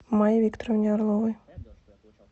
майе викторовне орловой